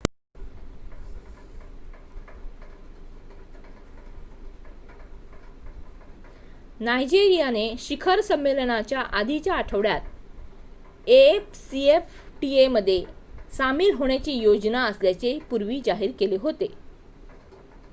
नायजेरियाने शिखर संमेलनाच्या आधीच्या आठवड्यात afcfta मध्ये सामील होण्याची योजना असल्याचे पूर्वी जाहीर केले होते